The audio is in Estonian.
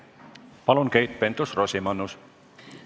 Palun, Keit Pentus-Rosimannus!